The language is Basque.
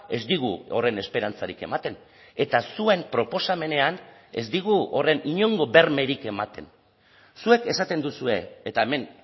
ez digu horren esperantzarik ematen eta zuen proposamenean ez digu horren inongo bermerik ematen zuek esaten duzue eta hemen